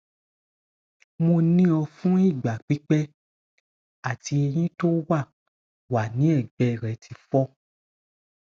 mo ni o fun igba pipẹ ati eyin ti o wa wa ni egbe re ti fọ